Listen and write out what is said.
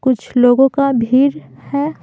कुछ लोगों का भीड़ है।